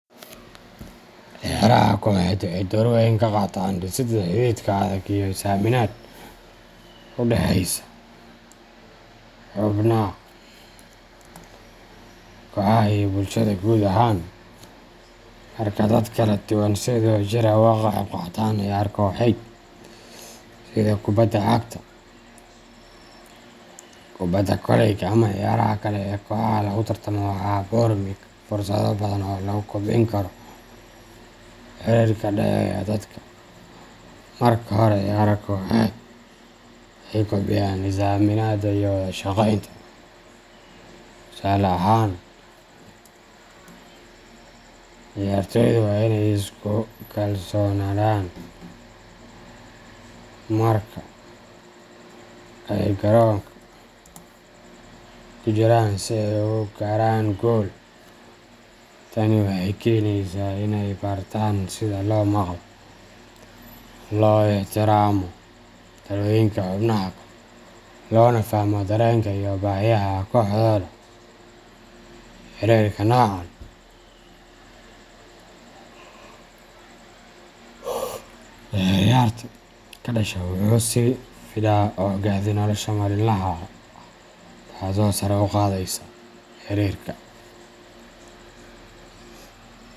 Ciyaaraha kooxeed waxay door weyn ka qaataan dhisidda xidhiidh adag iyo is aaminad u dhaxaysa xubnaha kooxaha iyo bulshada guud ahaan. Marka dad kala duwan ay si wadajir ah uga qayb qaataan ciyaar kooxeed, sida kubadda cagta, kubadda koleyga ama ciyaaraha kale ee kooxaha lagu tartamo, waxaa abuurma fursado badan oo lagu kobcin karo xiriirka ka dhexeeya dadka. Marka hore, ciyaaraha kooxeed waxay kobciyaan is aaminada iyo wada shaqeynta. Tusaale ahaan, ciyaartoydu waa in ay isku kalsoonaadaan marka ay garoonka ku jiraan si ay u gaaraan guul. Tani waxay keenaysaa in ay bartaan sida loo maqlo, loo ixtiraamo talooyinka xubnaha kale, loona fahmo dareenka iyo baahiyaha kooxdooda. Xiriirka noocan ah ee ciyaarta ka dhasha wuxuu sii fidaa oo gaadha nolosha maalinlaha ah, taasoo sare u qaadaysa xiriirka.